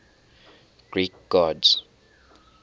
greek gods